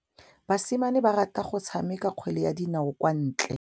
Basimane ba rata go tshameka kgwele ya dinaô kwa ntle.